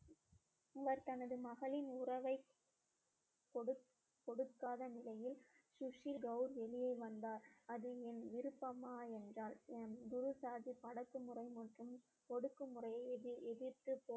இவர் தனது மகளின் உறவை கொடுக்~ கொடுக்காத நிலையில் சுசில் கவுர் வெளியே வந்தார் அது என் விருப்பமா என்றால் என் குரு சாகிப் அடக்குமுறை மற்றும் ஒடுக்குமுறையை எதிர்~ எதிர்த்து